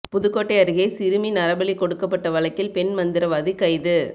புதுக்கோட்டை அருகே சிறுமி நரபலி கொடுக்கப்பட்ட வழக்கில் பெண் மந்திரவாதி கைது